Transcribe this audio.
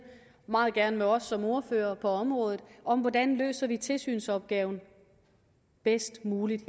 meget gerne med dem af os som er ordførere på området om hvordan vi løser tilsynsopgaven bedst muligt